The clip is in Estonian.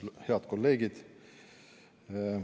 Head kolleegid!